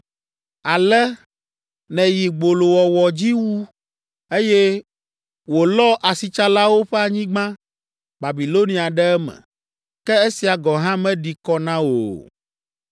Ale nèyi gbolowɔwɔ dzi wu, eye wòlɔ asitsalawo ƒe anyigba, Babilonia ɖe eme. Ke esia gɔ̃ hã meɖi kɔ na wò o.”